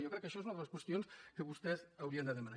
jo crec que això és una de les qüestions que vostès haurien de demanar